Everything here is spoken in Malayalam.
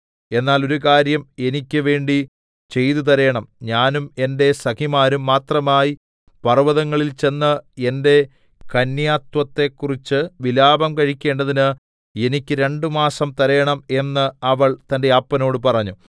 എന്നാൽ ഒരു കാര്യം എനിക്ക് വേണ്ടി ചെയ്തു തരേണം ഞാനും എന്റെ സഖിമാരും മാത്രമായി പർവ്വതങ്ങളിൽ ചെന്ന് എന്റെ കന്യാത്വത്തെക്കുറിച്ചു വിലാപം കഴിക്കേണ്ടതിന് എനിക്ക് രണ്ടുമാസം തരേണം എന്ന് അവൾ തന്റെ അപ്പനോട് പറഞ്ഞു